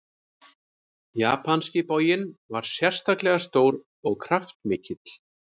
Japanski boginn var sérstaklega stór og kraftmikill.